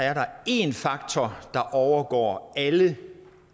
er der en faktor der overgår alle